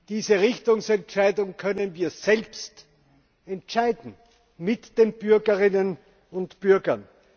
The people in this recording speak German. Diese Richtungsentscheidung können wir selbst entscheiden, mit den Bürgerinnen und Bürgern.